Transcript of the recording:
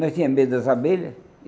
Nós tinha medo das abelha.